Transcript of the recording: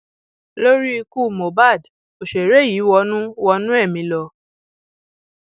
lórí ikú mohbak òṣèré yìí wọnú wọnú ẹmí lọ